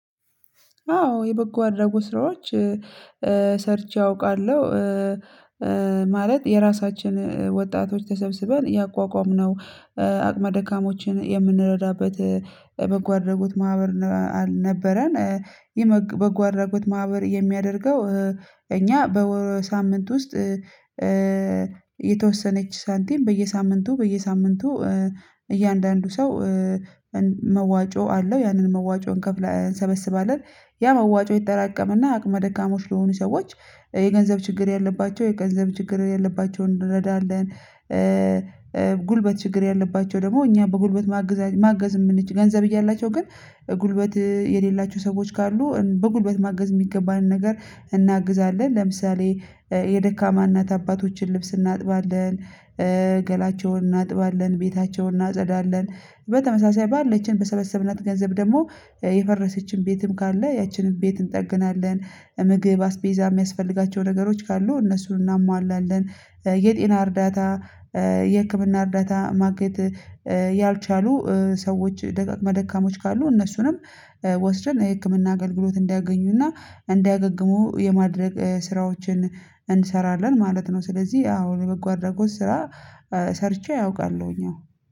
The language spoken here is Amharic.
አዎ የበጎ አድራጎት ስራዎች፤ ሰርቼ አውቃለሁ፤ ማለት የራሳችን ወጣቶች ተሰብስበን ያቋቋምነው አቅመ ደካማዎችን የምንረዳበት የበጎ አድራጎት ማህበር ነበረን። በጎ አድራጎት ማህበር የሚያደርገው እኛ በወር ሳምንት ውስጥ፤ የተወሰነች ሳንቲም በየሳምንቱ በየሳምንቱ፤ እያንዳንዱ ሰው መዋጮ አለው ያንን መዋጮ እንከፍላ እንሰበስባለን። ያ መዋጮ ይጠራቀምና አቅመ ደካሞች ለሆኑ ሰዎች፤ የገንዘብ ችግር ያለባቸው፤ የገንዘብ ችግር ያለባቸውን እንረዳለን። ጉልበት ችግር ያለባቸው ደግሞ እኛ በጉልበት ማገዝ ማገዝ የምንችል። ገንዘብ እያላቸው ግን ጉልበት የሌላቸው ሰዎች ካሉ በጉልበት ማገዝ የሚገባን ነገር እናግዛለን። ለምሳሌ የደካማ እናት አባቶችን ልብስ እናጥባለን፤ ገላቸውን እናጥባለን፤ ቤታቸውን እናጸዳለን፤ በተመሳሳይ ባለችን በሰበሰብናት ገንዘብ ደግሞ፤ የፈረሰችን ቤትም ካለ ያቺንም ቤት እንጠግናለን። ምግብ አስቤዛ የሚያስፈልጋቸው ነገሮች ካሉ እነሱን እናሟላለን። የጤና እርዳታ የህክምና እርዳታ ማግኘት ያልቻሉ ሰዎች ደካማ አቆመደካማዎች ካሉ እነሱንም ወስደን የህክምና አገልግሎት እንዳያገኙና እንዳያገግሙ የማድረግ፤ ስራዎችን እንሰራለን ማለት ነው ስለዚህ አዎን የበጓ አድራጎት ስራ ሰርቼ አውቃለሁኝ።